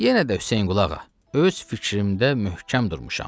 Yenə də Hüseynqulağa, öz fikrimdə möhkəm durmuşam.